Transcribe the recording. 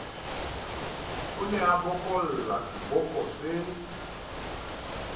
ne a bokolla seboko se